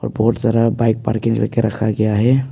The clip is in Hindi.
बहुत सारा बाइक पार्किंग करके रखा गया है।